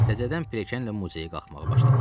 Təzədən pilləkanla muzeyə qalxmağa başladım.